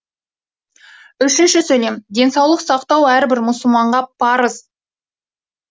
денсаулық сақтау әрбір мұсылманға парыз